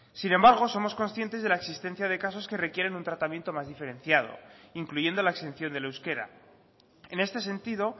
sin embargo somos conscientes de la existencia de casos que requieren un tratamiento más diferenciado incluyendo la exención del euskera en este sentido